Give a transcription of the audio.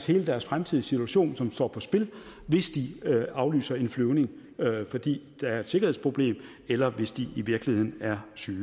hele deres fremtidige situation som står på spil hvis de afviser en flyvning fordi der er et sikkerhedsproblem eller hvis de i virkeligheden er syge